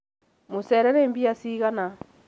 mũceere nĩ mbia cigana